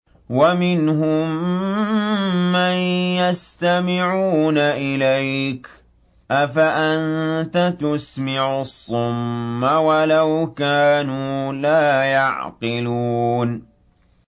وَمِنْهُم مَّن يَسْتَمِعُونَ إِلَيْكَ ۚ أَفَأَنتَ تُسْمِعُ الصُّمَّ وَلَوْ كَانُوا لَا يَعْقِلُونَ